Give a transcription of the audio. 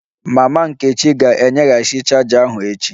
Mama nkechi ga-enyeghachi chaja ahu echi